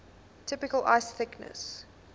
typical ice thickness